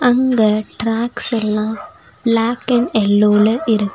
அங்க ட்ராக்ஸ்ஸெல்லா black and எல்லோல இருக்.